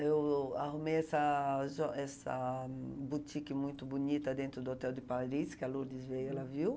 Eu arrumei essa jo essa boutique muito bonita dentro do Hotel de Paris, que a Lourdes veio, ela viu.